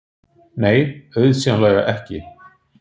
Nei, auðsjáanlega ekki.